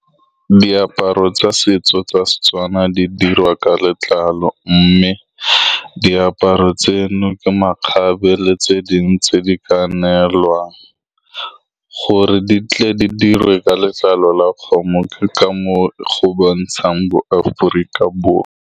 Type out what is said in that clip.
Diaparo tsa setso tsa Setswana di diriwa ka letlalo, mme diaparo tseno ke makgabe. Letse dingwe tse di ka neelwang gore di tle di diriwe ka letlalo la kgomo, ke ka moo go bontshang bo Aforika Borwa.